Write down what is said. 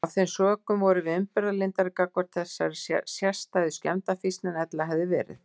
Af þeim sökum vorum við umburðarlyndari gagnvart þessari sérstæðu skemmdarfýsn en ella hefði verið.